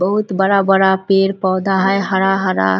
बहुत बड़ा-बड़ा पेड़-पौधा है हरा-हरा --